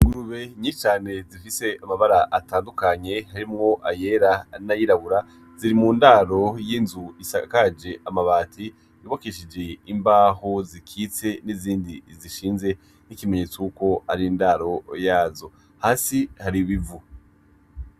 Ingurube nyinshi cane zifise amabara atandukanye harimwo ayera n'ayirabura, ziri mu ndaro y'inzu isakaje amabati, yubakishije imbaho zikitse n'izindi zishinze nk'ikimenyetso y'uko ari ndaro yazo. Hasi hari ibicu.